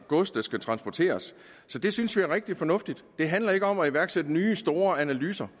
gods der skal transporteres så det synes vi er rigtig fornuftigt det handler ikke om at iværksætte nye store analyser